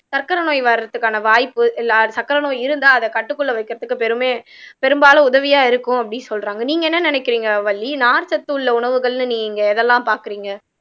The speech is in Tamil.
சர்க்கரை நோய் வர்றதுக்கான வாய்ப்பு இல்ல சர்க்கரை நோய் இருந்தா அத கட்டுக்குள்ள வைக்கிறதுக்கு பெருமை பெரும்பாலும் உதவியா இருக்கும் அப்படின்னு சொல்றாங்க நீங்க என்ன நினைக்கிறீங்க வள்ளி நார்ச்சத்து உள்ள உணவுகள்ன்னு நீங்க எதெல்லாம் பாக்குறீங்க